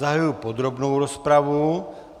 Zahajuji podrobnou rozpravu.